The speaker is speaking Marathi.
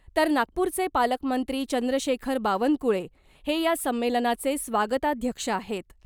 तर नागपूरचे पालकमंत्री चंद्रशेखर बावनकुळे हे या संमेलनाचे स्वागताध्यक्ष आहेत .